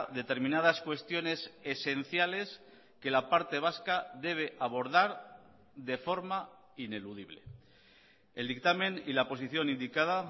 determinadas cuestiones esenciales que la parte vasca debe abordar de forma ineludible el dictamen y la posición indicada